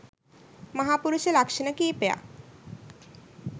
මහාපුරුෂ ලක්ෂණ කීපයක්